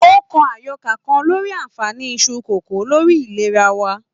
O kọ àyọkà kàn lórí aanfani Isu kókó lórí ìlera wa.